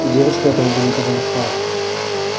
девочка этого бы не перенесла